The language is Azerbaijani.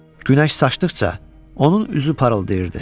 Günəş saçdıqca onun üzü parıldayırdı.